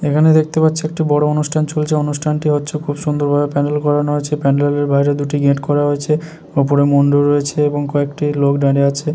এখানে দেখতে পাচ্ছি একটি বড় অনুষ্ঠান চলছে অনুষ্ঠানটি হচ্ছে খুব সুন্দর ভাবে প্যান্ডেল করানো হয়েছে প্যান্ডেল এর বাইরে দুটি গেট করা হয়েছে ওপরে মণ্ডপ রয়েছে এবং কয়েকটি লোক দাঁড়িয়ে আছে।